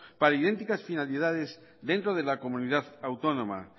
para idénticas finalidades dentro de la comunidad autónoma